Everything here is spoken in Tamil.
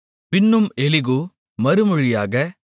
பின்னும் எலிகூ மறுமொழியாக